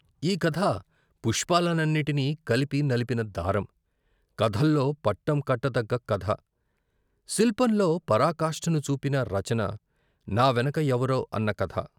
ఈ కథా పుష్పాల నన్నిటిని కలిపి నిలిపిన దారం. కథల్లో పట్టం కట్టదగ్గ కథ. శిల్పంలో పరాకాష్ఠను చూపిన రచన, 'నా వెనక ఎవరో ' అన్న కథ.